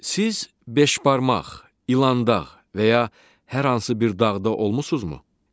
Siz beşbarmaq, İlandağ və ya hər hansı bir dağda olmusunuzmu?